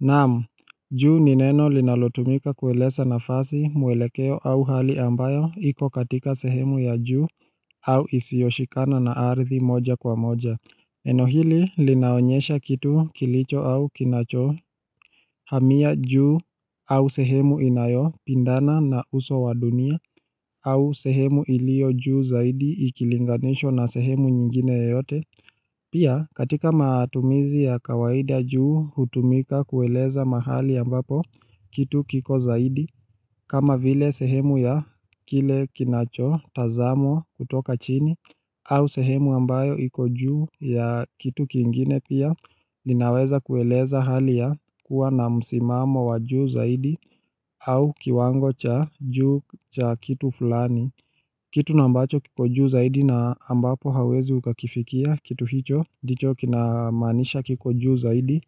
Na'am, juu ni neno linalotumika kueleza nafasi mwelekeo au hali ambayo iko katika sehemu ya juu au isiyoshikana na aridhi moja kwa moja. Neno hili linaonyesha kitu kilicho au kinachohamia juu au sehemu inayopindana na uso wa dunia au sehemu ilio juu zaidi ikilinganishwa na sehemu nyingine yoyote Pia katika matumizi ya kawaida, juu hutumika kueleza mahali ambapo kitu kiko zaidi kama vile sehemu ya kile kinacho tazamwa kutoka chini au sehemu ambayo iko juu ya kitu kingine pia. Linaweza kueleza hali ya kuwa na msimamo wa juu zaidi au kiwango cha juu cha kitu fulani. Kitu nambacho kiko juu zaidi na ambapo hauwezi ukakifikia kitu hicho ndicho kinamaanisha kiko juu zaidi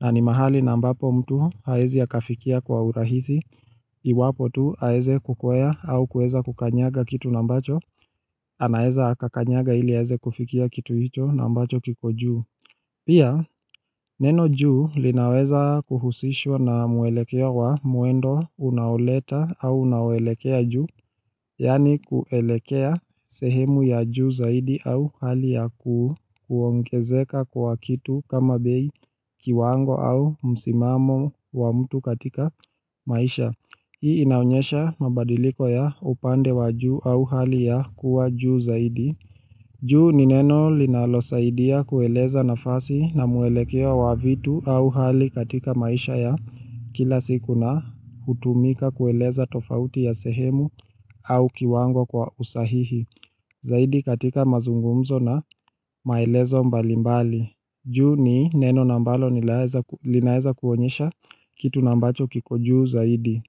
na ni mahali nambapo mtu haezi akafikia kwa urahisi. Iwapo tu aeze kukwea au kuweza kukanyaga kitu nambacho anaeza akakanyaga ili aeze kufikia kitu hito nambacho kiko juu Pia neno juu, linaweza kuhusishwa na mwelekea wa mwendo unaoleta au unaoelekea juu Yani kuelekea sehemu ya juu zaidi au hali ya kuongezeka kwa kitu kama bei, kiwango au msimamo wa mtu katika maisha. Hii inaonyesha mabadiliko ya upande wa juu au hali ya kuwa juu zaidi juu ni neno linalosaidia kueleza nafasi na mwelekeo wa vitu au hali katika maisha ya kila siku na hutumika kueleza tofauti ya sehemu au kiwango kwa usahihi. Zaidi katika mazungumzo na maelezo mbalimbali. Juu ni neno nambalo linaeza kuonyesha kitu nambacho kiko juu zaidi.